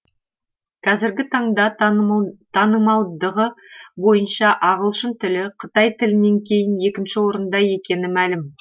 қазіргі таңда танымалдығы бойынша ағылшын тілі қытай тілінен кейін екінші орында екені мәлім